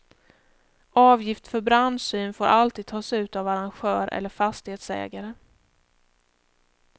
Avgift för brandsyn får alltid tas ut av arrangör eller fastighetsägare.